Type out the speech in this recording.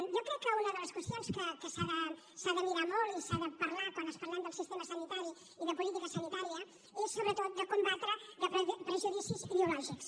jo crec que una de les qüestions que s’ha de mirar molt i s’ha de parlar quan parlem del sistema sanitari i de política sanitària és sobretot de combatre prejudicis ideològics